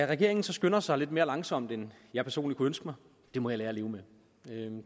regeringen så skynder sig lidt mere langsomt end jeg personligt kunne ønske mig må jeg lære at leve med